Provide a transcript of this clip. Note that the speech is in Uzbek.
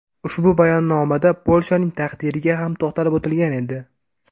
Ushbu bayonnomada Polshaning taqdiriga ham to‘xtalib o‘tilgan edi.